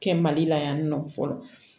Kɛ mali la yan nɔ fɔlɔ